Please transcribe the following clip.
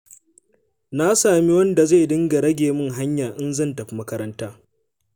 Na sami wanda zai dinga rage min hanya in zan tafi makaranta.